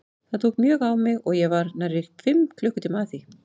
Það tók mjög á mig og ég var nærri fimm klukkutíma að því.